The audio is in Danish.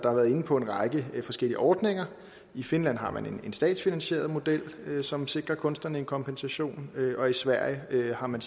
inde på en række forskellige ordninger i finland har man en statsfinansieret model som sikrer kunstnerne en kompensation og i sverige har man